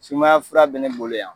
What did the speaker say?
Sumaya fura be ne bolo yan